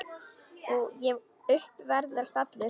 Ég upp veðrast allur.